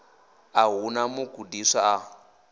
a hu na mugudiswa a